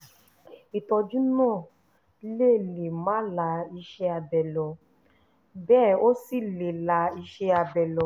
ìtọ́jú náà lè lè má la iṣẹ́ abẹ lọ bẹ́ẹ̀ ó sì lè la iṣẹ́ abẹ lọ